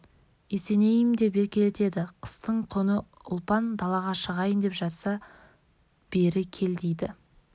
есенейім деп еркелетеді қыстың күні ұлпан далаға шығайын деп жатса бері кел дейді